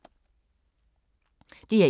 DR1